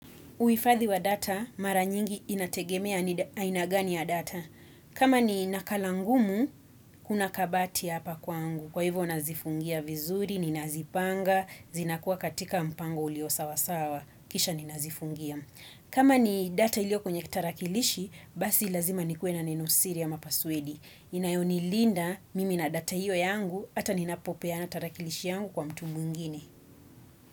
Uifadhi wa data, mara nyingi inategemea ainagani ya data. Kama ni nakalangumu, kuna kabati hapa kwangu. Kwa hivyo nazifungia vizuri, ninazipanga, zinakuwa katika mpango ulio sawasawa. Kisha ninazifungia. Kama ni data ilioko nye kitarakilishi, basi lazima nikue na nenosiri ama paswedi. Inayo nilinda mimi na data hiyo yangu, ata ninapopeana tarakilishi yangu kwa mtu mwingine.